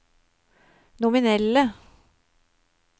nominelle